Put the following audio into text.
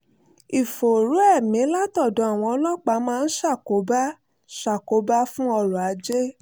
ìfòòró ẹ̀mí látọ̀dọ̀ àwọn ọlọ́pàá máa ń ṣàkóbá ṣàkóbá fún ọrọ̀ ajé